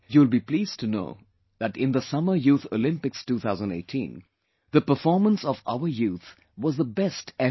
You will be pleased to know that in the Summer Youth Olympics 2018, the performance of our youth was the best ever